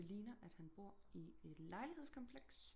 Det ligner han bor i et lejlighedskompleks